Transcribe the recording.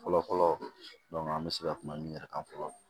Fɔlɔ fɔlɔ an bɛ se ka kuma min yɛrɛ kan fɔlɔ